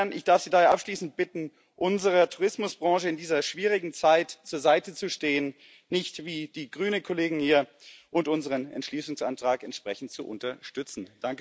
Ich darf Sie daher abschließend bitten, unserer Tourismusbranche in dieser schwierigen Zeit zur Seite zu stehen nicht wie die grüne Kollegin hier und unseren Entschließungsantrag entsprechend zu unterstützen.